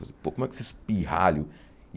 Pô, como é que esses pirralho?